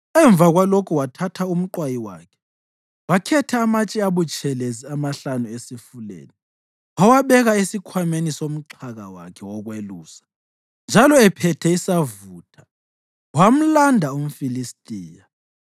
Emva kwalokho wathatha umqwayi wakhe, wakhetha amatshe abutshelezi amahlanu esifuleni. Wawabeka esikhwameni somxhaka wakhe wokwelusa, njalo ephethe isavutha wamlanda umFilistiya.